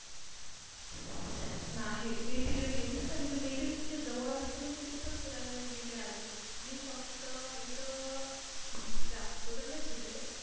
नाही मी तिकडे गेली च नाही म्हणजे मी इतकी जवळ असून तिथे पण फिरायला गेली नाही अजून मी फक्त इथं मी जास्त तर नाही फिरली.